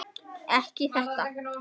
Ekki þetta.